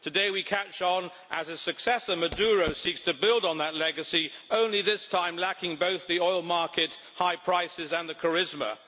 Today, we catch on as a successor Maduro seeks to build on that legacy, only this time lacking both the oil market high prices and the charisma.